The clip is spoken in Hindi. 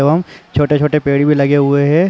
एवं छोटे-छोटे पेड़ भी लगे हुए हैं।